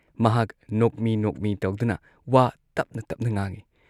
ꯃꯍꯥꯛ ꯅꯣꯛꯃꯤ ꯅꯣꯛꯃꯤ ꯇꯧꯗꯨꯅ ꯋꯥ ꯇꯞꯅ ꯇꯞꯅ ꯉꯥꯡꯏ ꯫